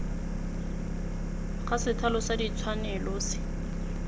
ga sethalo sa ditshwanelo se